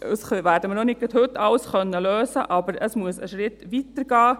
Wir werden auch nicht gerade heute alles lösen können, aber es muss einen Schritt weiter gehen.